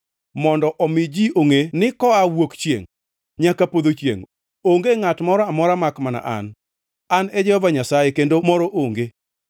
mondo omi ji ongʼe ni koa wuok chiengʼ nyaka podho chiengʼ, onge ngʼat moro amora makmana an. An e Jehova Nyasaye, kendo moro onge.